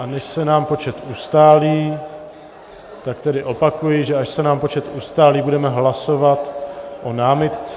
A než se nám počet ustálí, tak tedy opakuji, že až se nám počet ustálí, budeme hlasovat o námitce...